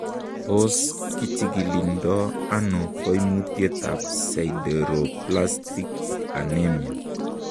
Tos kichikildo ono koimutietab sideroblastic anemia ?